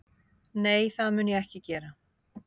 Nei, það mun ég ekki gera